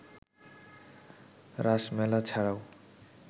রাস মেলা ছাড়াও